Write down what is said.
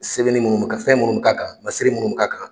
Sɛbɛnni munnu ka fɛn minnu ka kan masiri munnu k'a kan